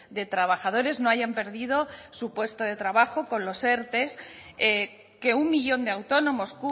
de trabajadores no hayan perdido su puesto de trabajo con los erte que un millón de autónomos